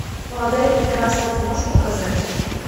молода и прекрасна ты можешь показать